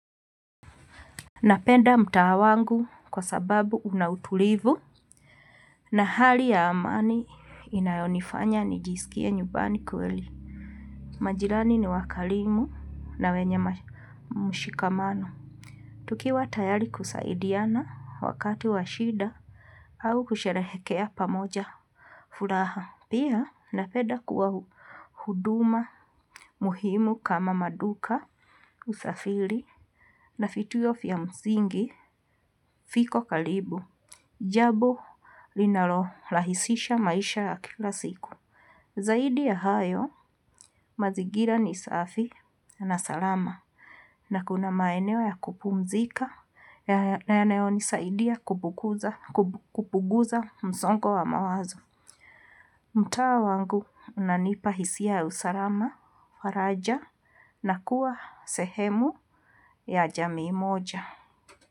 Napenda mtaa wangu kwa sababu una utulivu na hali ya amani inayonifanya nijisikie nyumbani kweli. Majirani ni wakarimu na wenye mshikamano. Tukiwa tayari kusaidiana wakati wa shida au kusherehekea pamoja furaha. Pia napenda kuwa huduma muhimu kama maduka usafiri na vituo vya msingi viko karibu. Jambo linalorahisisha maisha ya kila siku. Zaidi ya hayo mazingira ni safi na salama na kuna maeneo ya kupumzika na yanayo nisaidia kupuguza msongo wa mawazo. Mtaa wangu unanipa hisia ya usalama, faraja na kuwa sehemu ya jamii moja.